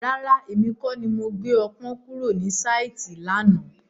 Rárá, èmi kọ́ ni mo gbé ọpọ́n kúrò ní sáìtì lánàá.